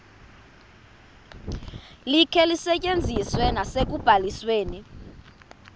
likhe lisetyenziswe nasekubalisweni